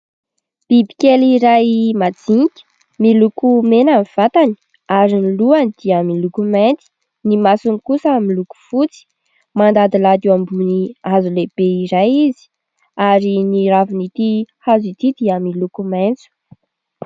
Biby kely iray majinika. Miloko mena ny vatany ary ny lohany dia miloko mainty, ny masony kosa miloko fotsy. Mandadilady eo ambony hazo lehibe iray izy, ary ny ravin'itỳ hazo itỳ dia miloko maitso.